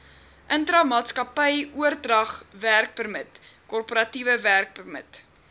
intramaatskappyoordragwerkpermit korporatiewe werkpermit